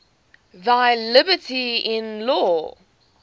thy liberty in law